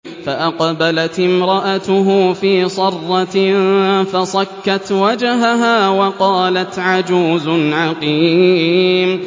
فَأَقْبَلَتِ امْرَأَتُهُ فِي صَرَّةٍ فَصَكَّتْ وَجْهَهَا وَقَالَتْ عَجُوزٌ عَقِيمٌ